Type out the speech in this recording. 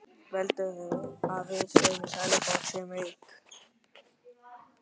Heldurðu að við í Sæbóli séum rík?